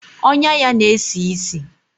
Ọnyá ya na-esi ísì.